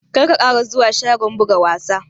Kar ka ƙara zuwa shagon buga wasa!